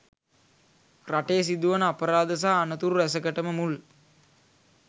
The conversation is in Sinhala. රටේ සිදුවන අපරාධ සහ අනතුරු රැසකටම මුල්